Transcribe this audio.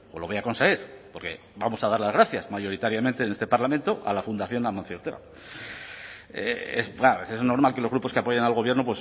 lo voy a conseguir porque vamos a dar las gracias mayoritariamente en este parlamento a la fundación de amancio ortega es normal que los grupos que apoyan al gobierno